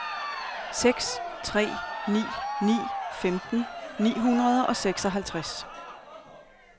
seks tre ni ni femten ni hundrede og seksoghalvtreds